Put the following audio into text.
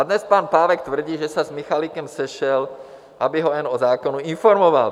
A dnes pan Pávek tvrdí, že se s Michalikem sešel, aby ho jen o zákonu informoval.